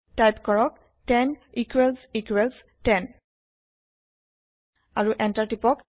type কৰক 10 equals equals 10 আৰু enter টিপক